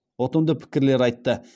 ұтымды пікірлер айтты